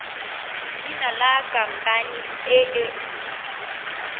leina la khamphane e nngwe